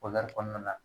kɔnɔna na